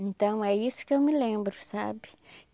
Então, é isso que eu me lembro, sabe?